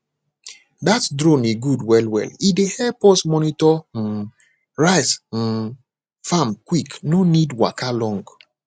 that drone e good well well e dey help us monitor um rice um farm quick no need waka long